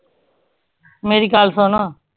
ਮੇਰੀ ਗੱਲ ਸੁਣ